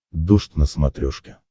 дождь на смотрешке